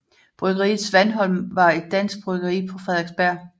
Bryggeriet Svanholm var et dansk bryggeri på Frederiksberg